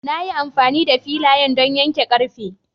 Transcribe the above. Na yi amfani da filayan don yanke ƙarfe.